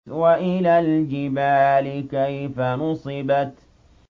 وَإِلَى الْجِبَالِ كَيْفَ نُصِبَتْ